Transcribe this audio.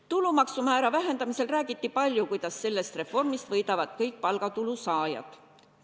Tulumaksumäära vähendamisel räägiti palju, kuidas sellest reformist võidavad kõik palgatulu saajad.